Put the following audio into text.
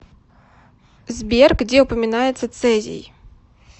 сбер где упоминается цезий